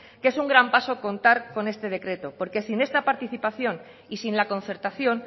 que es un gran paso contar con este decreto porque sin esta participación y sin la concertación